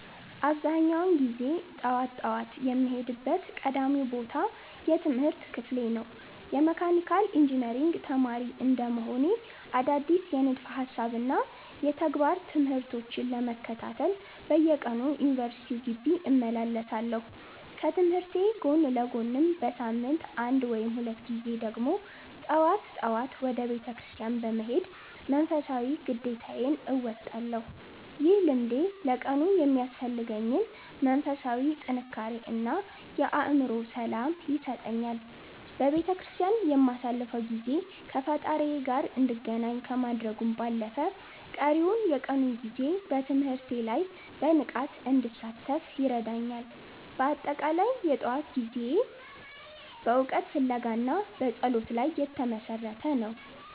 አብዛኛውን ጊዜ ጠዋት ጠዋት የምሄድበት ቀዳሚው ቦታ የትምህርት ክፍሌ ነው። የመካኒካል ኢንጂነሪንግ ተማሪ እንደመሆኔ፣ አዳዲስ የንድፈ ሃሳብና የተግባር ትምህርቶችን ለመከታተል በየቀኑ ወደ ዩኒቨርሲቲው ግቢ እመላለሳለሁ። ከትምህርቴ ጎን ለጎንም በሳምንት አንድ ወይም ሁለት ጊዜ ደግሞ ጠዋት ጠዋት ወደ ቤተክርስቲያን በመሄድ መንፈሳዊ ግዴታዬን እወጣለሁ። ይህ ልምዴ ለቀኑ የሚያስፈልገኝን መንፈሳዊ ጥንካሬ እና የአእምሮ ሰላም ይሰጠኛል። በቤተክርስቲያን የማሳልፈው ጊዜ ከፈጣሪዬ ጋር እንድገናኝ ከማድረጉም ባለፈ፣ ቀሪውን የቀኑን ጊዜ በትምህርቴ ላይ በንቃት እንድሳተፍ ይረዳኛል። በአጠቃላይ፣ የጠዋት ጊዜዬ በዋናነት በእውቀት ፍለጋ እና በጸሎት ላይ የተመሰረተ ነው።